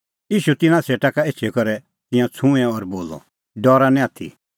ईशू तिन्नां सेटा एछी करै तिंयां छ़ूंऐं और बोलअ खल़ै उझ़िआ डरा निं आथी